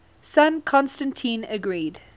son constantine agreed